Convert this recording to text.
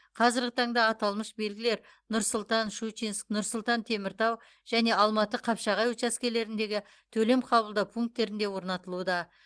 қазіргі таңда аталмыш белгілер нұр сұлтан щучинск нұр сұлтан теміртау және алматы қапшағай учаскелеріндегі төлем қабылдау пункттерінде орнатылуда